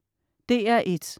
DR1: